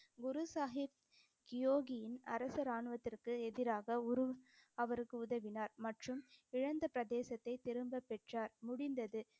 குரு சாஹிப் யோகியின் அரசு ராணுவத்திற்கு எதிராக உரு~ அவருக்கு உதவினார் மற்றும் இழந்த பிரதேசத்தைத் திரும்பப் பெற்றார், முடிந்தது.